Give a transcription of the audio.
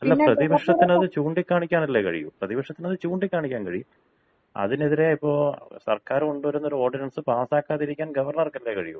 അല്ല, പ്രതിപക്ഷത്തിന് അത് ചൂണ്ടിക്കാണിക്കാൻ അല്ലേ കഴിയൂ. പ്രതിപക്ഷത്തിന് അത് ചൂണ്ടിക്കാണിക്കാൻ കഴിയും. അതിനെതിരെ ഇപ്പോ സർക്കാർ കൊണ്ടുവരുന്ന ഒരു ഓർഡിനൻസ് പാസാക്കാതിരിക്കാൻ ഗവർണർക്കല്ലേ കഴിയൂ.